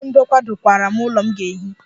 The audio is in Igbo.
Onye ọrụ ndokwa dokwara m ụlọ m ga-ehi.